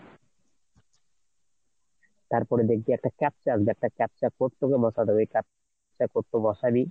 তারপরে দেখবি, একটা captcha আসবে একটা captcha র code তোকে বসাতে হবে ওই captcha code তুই বসাবি।